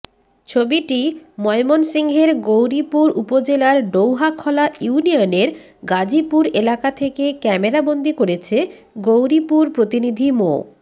ছবিটি ময়মনসিংহের গৌরীপুর উপজেলার ডৌহাখলা ইউনিয়নের গাজীপুর এলাকা থেকে ক্যামেরাবন্দি করেছে গৌরীপুর প্রতিনিধি মাে